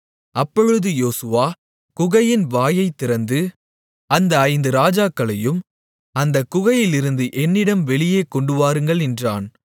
அப்பொழுது யோசுவா குகையின் வாயைத் திறந்து அந்த ஐந்து ராஜாக்களையும் அந்தக் குகையிலிருந்து என்னிடம் வெளியே கொண்டுவாருங்கள் என்றான்